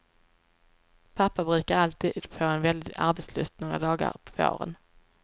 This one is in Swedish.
Pappa brukar alltid få en väldig arbetslust några dagar på våren.